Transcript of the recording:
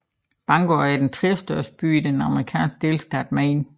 Bangor er den tredjestørste by i den amerikanske delstat Maine